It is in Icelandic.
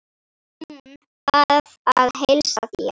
Hún bað að heilsa þér.